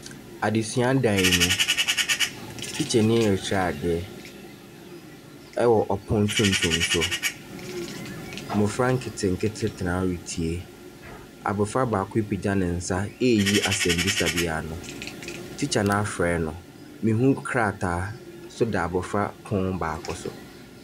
Adesua dan mu. Tikyani rekyerɛ ade ɛwɔ ɔpono tuntum so. Mmofra nketenkete tena hɔ retie. Abofra baako apagya ne nsa eyi asɛm bisa bi ano. Tikya no afrɛ no.